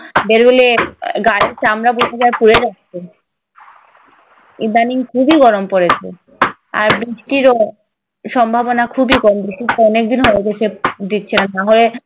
বের হলে গায়ের চামড়া পুড়ে যাচ্ছে। ইদানিং খুবই গরম পড়েছে। আর বৃষ্টিরও সম্ভাবনা খুবই কম। বৃষ্টিরতো অনেকদিন হয়ে গেছে। দিচ্ছে না। না হলে